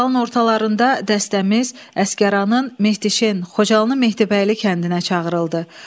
Fevralın ortalarında dəstəmiz Əsgəranın Mehdixen, Xocalının Mehdibəyli kəndinə çağırıldı.